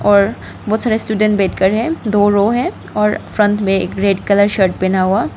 और बहुत सारे स्टूडेंट बैठकर है दो रो है और फ्रंट में एक रेड कलर शर्ट पहना हुआ--